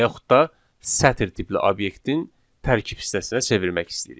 Və yaxud da sətir tipli obyektin tərkib hissəsinə çevirmək istəyirik.